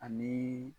Ani